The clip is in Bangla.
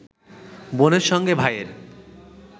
বোনের সঙ্গে ভাইয়ের